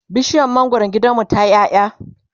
bishiyar mangwaron gidanmu tayi ƴaƴa